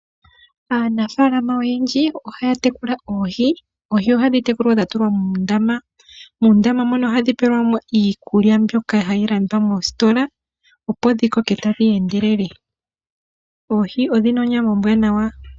Aanafaalama oyendji ohaatekula oohi, oohi ohadhi tekulwa dhatulwa muundama muundama mono ohadhi pelwamo iikulya mbyoka hayilandwa moositola opo dhikoke tadheendelele. Oohi odhina onyama ombwaanawa.